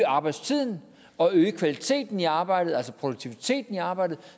arbejdstiden og kvaliteten i arbejdet altså produktiviteten i arbejde